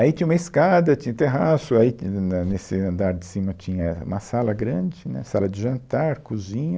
Aí tinha uma escada, tinha um terraço, aí na na nesse andar de cima tinha uma sala grande, né, sala de jantar, cozinha.